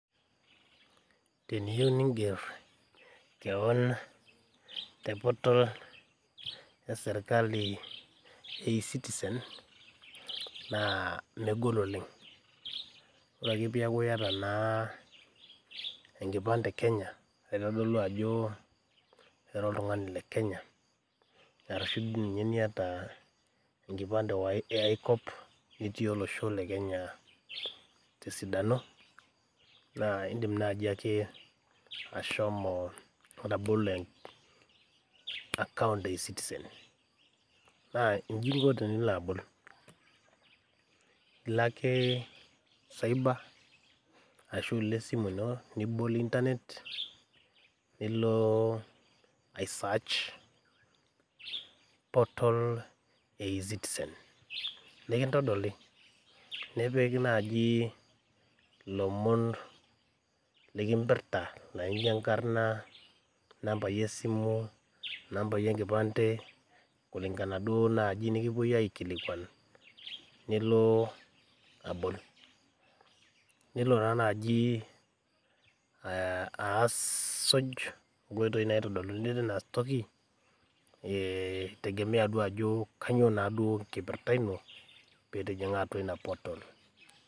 Teniyieu ninger keeon te portal e Kenya e ezitizen naa megol oleng ore ake peeku iyata enkipande naitodolu ajo ira oltung'ani le kenya ashua iyata enkipande aae kop niata enkipande tesidano indiim ake ashomo abol ee account e ezitizen naa jnji inko tenilo abol ilo ake cyber ashua ilo esimu ino nilo aisaach portal e ezitizen nikintodoli nipik naaji ilomon nikimpirra naijio enkarna inambai esimu inambai enkipande kulinkana duo naani wenekipuoi aikilikuan nilo aput tenelo taa naaji aaasuj inkoitoi naitodoluni tine wueji keitodolu naa ajo kanyioo enkipirta ino peitining'a ina portal